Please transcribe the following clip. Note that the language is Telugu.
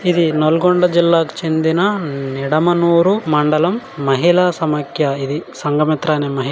ఇది నల్గొండ జిల్లాకు చెందిన ఉమ్ నిడమనూరు మండలం మహిళా సమైక్య ఇది సంఘమిత్ర అనే మహి --